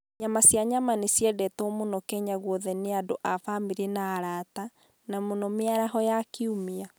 Nyama cia nyama nĩ ciendetwo mũno Kenya guothe nĩ andũ a famĩlĩ na arata, na mũno mĩaraho ya kiumia.